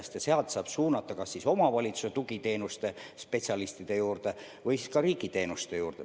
Sealt edasi saab suunata kas omavalitsuse tugiteenuste spetsialistide juurde või siis ka riigiteenuste juurde.